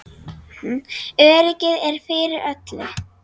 Öryggið er fyrir öllu.